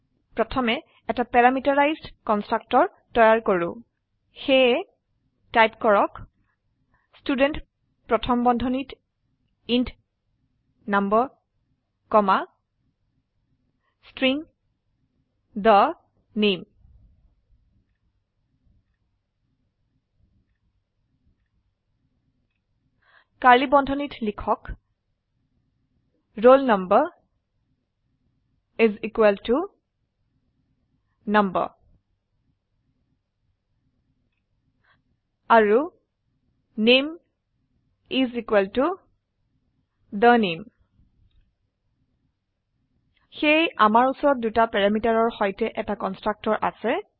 প্ৰথমে এটা parameterised constructor তৈয়াৰ কৰো সেয়ে টাইপ কৰক ষ্টুডেণ্ট প্ৰথম বন্ধনীত int number comma string the name কৰ্ড়লী বান্ধনীত লিখক roll number is equal to number আৰু নামে is equal to the name সেয়ে অমাৰ উচৰত দুটা প্যাৰামিটাৰৰ সৈতে এথা কন্সট্ৰাকটৰ আছে